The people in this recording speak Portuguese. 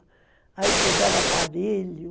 Aí puseram aparelho.